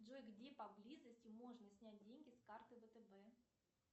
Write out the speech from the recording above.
джой где поблизости можно снять деньги с карты втб